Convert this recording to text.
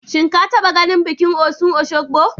Shin ka taɓa ganin bikin Osun Osogbo?